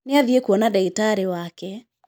Nĩ athie kũona ndagitarĩ wake.